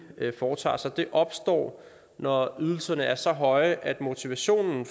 foretager sig opstår når ydelserne er så høje at motivationen